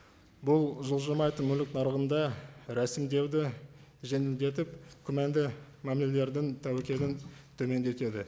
бұл жылжымайтын мүлік нарығында рәсімдеуді жеңілдетіп күмәнді мәмілелердің тәуекелін төмендетеді